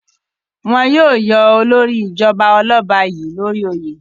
Wọn yóò yọ olórí ìjọba ọlọ́ba yìí l'ori oyè.